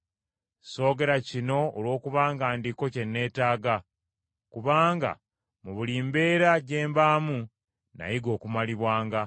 Soogera kino olwokubanga Ndiko kye nneetaaga, kubanga mu buli mbeera gye mbaamu nayiga okumalibwanga.